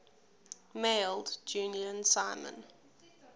mailed julian simon